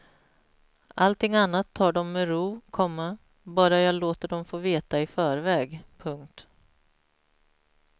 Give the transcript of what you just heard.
Allting annat tar dom med ro, komma bara jag låter dom få veta i förväg. punkt